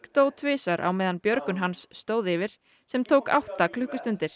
dó tvisvar á meðan björgun hans stóð yfir sem tók átta klukkustundir